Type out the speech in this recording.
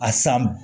A san